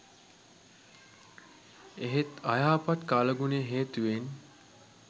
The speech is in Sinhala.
එහෙත් අයහපත් කාලගුණය හේතුවෙන්